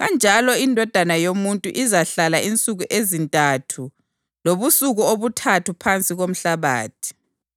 kanjalo iNdodana yoMuntu izahlala insuku ezintathu lobusuku obuthathu phansi komhlabathi.